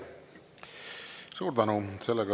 Suur tänu!